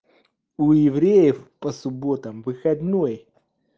у евреев по субботам выходной